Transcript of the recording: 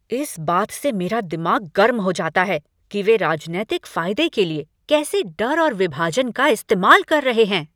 इस बात से मेरा दिमाग गर्म हो जाता है कि वे राजनैतिक फायदे के लिए कैसे डर और विभाजन का इस्तेमाल कर रहे हैं।